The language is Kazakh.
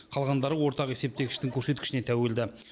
қалғандары ортақ есептегіштің көрсеткішіне тәуелді